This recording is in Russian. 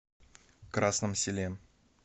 красном селе